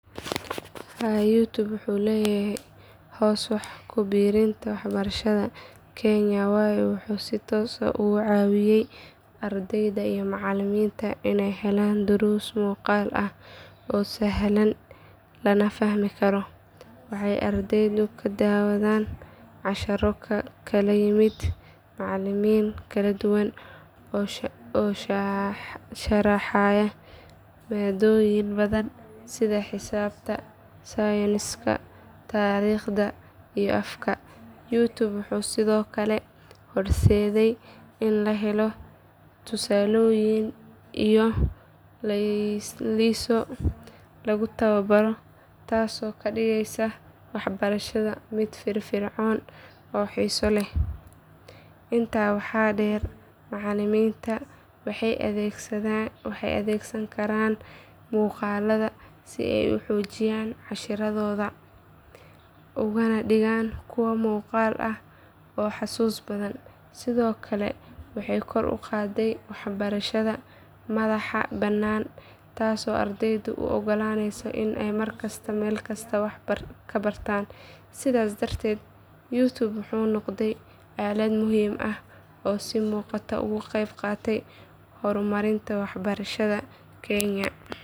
Haa youtube wuxuu leeyahay hoos wax ku biirinta waxbarashada kenya waayo wuxuu si toos ah uga caawiyay ardayda iyo macallimiinta inay helaan duruus muuqaal ah oo sahlan lana fahmi karo. Waxay ardaydu ka daawadaan casharro ka kala yimid macallimiin kala duwan oo sharaxaya maadooyin badan sida xisaabta, sayniska, taariikhda iyo afka. Youtube wuxuu sidoo kale horseeday in la helo tusaalooyin iyo laylisyo lagu tababaro taasoo ka dhigaysa waxbarashada mid firfircoon oo xiiso leh. Intaa waxaa dheer macallimiinta waxay adeegsan karaan muuqaalada si ay u xoojiyaan casharradooda ugana dhigaan kuwo muuqaal ah oo xusuus badan. Sidoo kale waxay kor u qaadday waxbarashada madaxa bannaan taasoo ardayda u oggolaanaysa inay mar kasta iyo meel kasta wax ka bartaan. Sidaas darteed youtube wuxuu noqday aalad muhiim ah oo si muuqata uga qaybqaadatay horumarinta waxbarashada kenya.